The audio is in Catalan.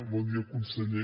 bon dia conseller